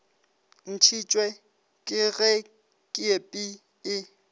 ntšhitšwe ke ge kepi e